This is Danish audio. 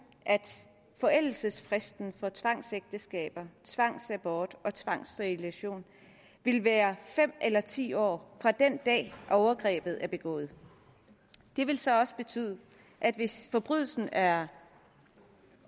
at forældelsesfristen for tvangsægteskaber tvangsabort og tvangssterilisation vil være fem eller ti år fra den dag overgrebet er begået det vil så betyde at hvis forbrydelsen er